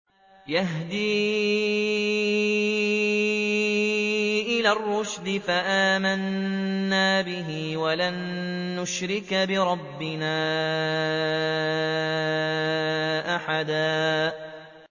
يَهْدِي إِلَى الرُّشْدِ فَآمَنَّا بِهِ ۖ وَلَن نُّشْرِكَ بِرَبِّنَا أَحَدًا